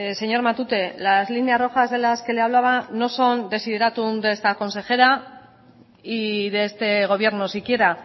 señor matute las líneas rojas de las que le hablaba no son desiderátum de esta consejera y de este gobierno si quiera